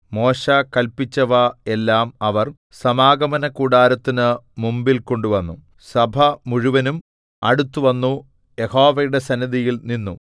മോശെ കല്പിച്ചവ എല്ലാം അവർ സമാഗമനകൂടാരത്തിനു മുമ്പിൽ കൊണ്ടുവന്നു സഭമുഴുവനും അടുത്തുവന്നു യഹോവയുടെ സന്നിധിയിൽ നിന്നു